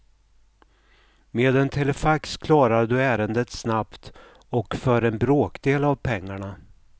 Med en telefax klarar du ärendet snabbt och för en bråkdel pengarna.